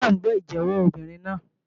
Àlùfáà ń gbọ́ ìjẹ́wọ́ obìnrin náà.